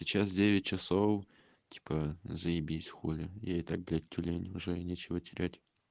сейчас девять часов типа заебись хули я и так блядь тюлень уже нечего терять